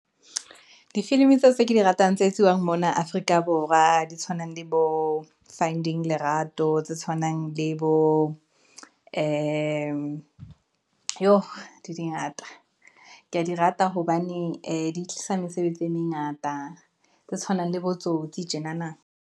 Difilimi tseo tse ke di ratang tse etsiwang mona Afrika Borwa, di tshwanang le bo funding Lerato, tse tshwanang le bo ee yooh di ngata. Ke ya di rata hobane ee di tlisa mesebetsi e mengata, tse tshwanang le botsotsi tjenana.